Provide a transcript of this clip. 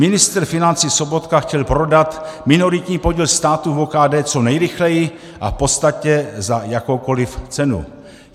Ministr financí Sobotka chtěl prodat minoritní podíl státu v OKD co nejrychleji a v podstatě za jakoukoliv cenu.